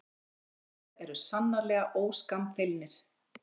Íslendingar eru sannarlega óskammfeilnir